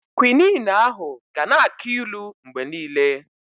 Kwinin ahụ ga na-aki ilu mgbe niile.